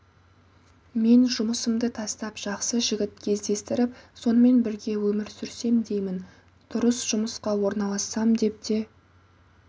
мен жұмысымды тастап жақсы жігіт кездестіріп сонымен бірге өмір сүрсем деймін дұрыс жұмысқа орналассам деп те